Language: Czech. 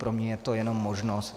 Pro mě je to jenom možnost.